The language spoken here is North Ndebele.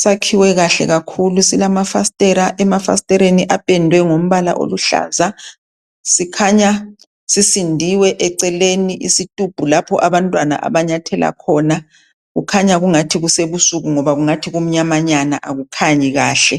sakhiwe kahle kakhulu silamafasitela .Emafasiteleni apendwe ngombala oluhlaza .Sikhanya sisindiwe eceleni isitubhu lapho abantwana abanyathela khona .Kukhanya kungathi kusebusuki ngoba kungathi kumnyamanyana akukhanyi kahle .